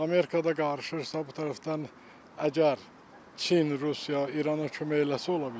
Amerikada qarışırsa, bu tərəfdən əgər Çin, Rusiya İrana kömək eləsə, ola bilər.